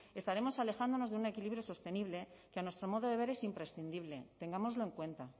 estaremos alejándonos de un equilibrio sostenible que a nuestro modo de ver es imprescindible tengámoslo en cuenta